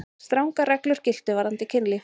Strangar reglur giltu varðandi kynlíf.